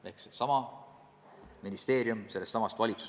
See on sellesama valitsuse juhitav ministeerium.